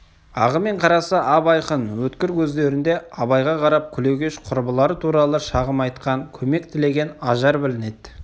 ағы мен қарасы ап-айқын өткір көздерінде абайға қарап күлегеш құрбылары туралы шағым айтқан көмек тілеген ажар білінеді